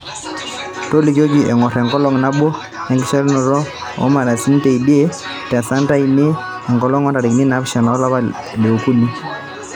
tolikioki engor enkolong nabo enkishatanaro o moarasini teidie te santa anita enkolong o ntarikini naapisha olapa li okuni